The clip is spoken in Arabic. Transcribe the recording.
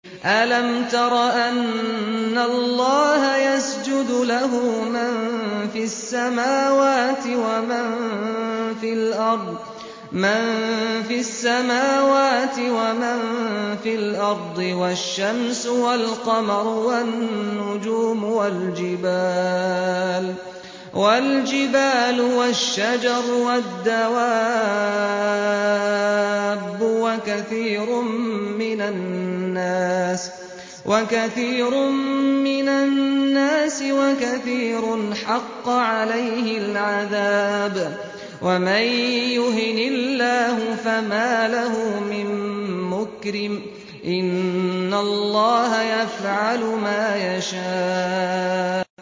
أَلَمْ تَرَ أَنَّ اللَّهَ يَسْجُدُ لَهُ مَن فِي السَّمَاوَاتِ وَمَن فِي الْأَرْضِ وَالشَّمْسُ وَالْقَمَرُ وَالنُّجُومُ وَالْجِبَالُ وَالشَّجَرُ وَالدَّوَابُّ وَكَثِيرٌ مِّنَ النَّاسِ ۖ وَكَثِيرٌ حَقَّ عَلَيْهِ الْعَذَابُ ۗ وَمَن يُهِنِ اللَّهُ فَمَا لَهُ مِن مُّكْرِمٍ ۚ إِنَّ اللَّهَ يَفْعَلُ مَا يَشَاءُ ۩